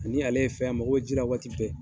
Ani ale ye fɛn ye a mago bɛ ji la waati bɛɛ.